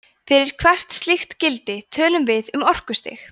fyrir hvert slíkt gildi tölum við um orkustig